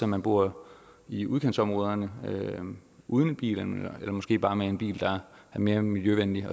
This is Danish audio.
man bor i udkantsområderne uden bil eller måske bare med en bil der er mere miljøvenlig